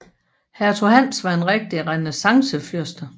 Hertug Hans var en rigtig renæssancefyrste